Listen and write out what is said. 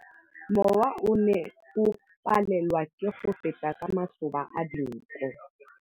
Mowa o ne o palelwa ke go feta ka masoba a dinko.